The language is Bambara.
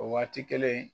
O waati kelen